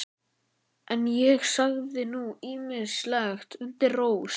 En ég sagði nú ýmislegt undir rós.